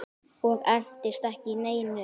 Og entist ekki í neinu.